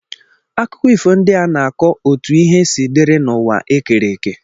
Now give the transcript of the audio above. Akụkọ ifo ndị a na-akọ otú ihe si dịrị n’ụwa e kere eke.